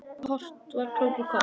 Kort svo róa krakkar enn.